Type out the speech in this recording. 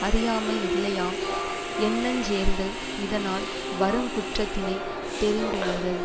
அறியாமை இல்லையாம் எண்ணஞ்சேர்ந்தல் இதனால் வருங்குற்றத்தினைத் தெரிந்துணர்தல்